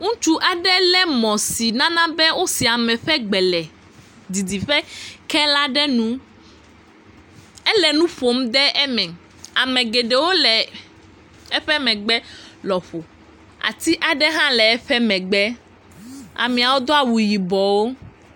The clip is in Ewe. Ŋutsu aɖe lé mɔ̃ aɖe si nana be wosea ame ƒe gbe le didiƒe kee la ɖe nu. Ele nu ƒom ɖe eme. Ame geɖewo le eƒe megbe lɔƒo. ati aɖe hã le eƒe megbe. Ameawo do awu yibɔwo.